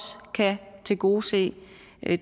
kan tilgodese